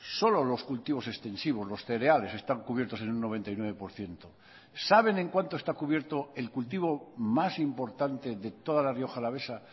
solo los cultivos extensivos los cereales están cubiertos en un noventa y nueve por ciento saben en cuánto está cubierto el cultivo más importante de toda la rioja alavesa